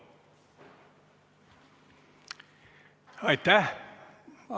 Aitäh!